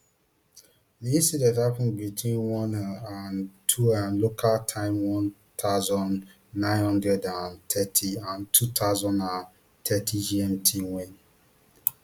di incident happun between oneam and twoam local time one thousand, nine hundred and thirty and two thousand and thirtygmt wen